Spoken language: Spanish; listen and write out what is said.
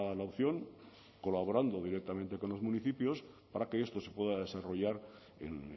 la opción colaborando directamente con los municipios para que esto se pueda desarrollar en